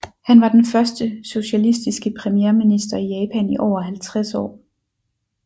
Han var den første socialistiske premierminister i Japan i over halvtreds år